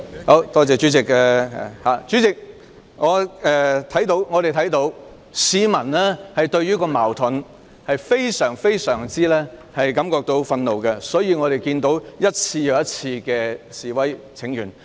代理主席，我們看到市民對這些矛盾感到非常憤怒，所以市民一次又一次的示威請願。